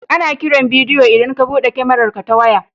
Ana kiran bidiyo idan ka buɗe kyamararka ta waya.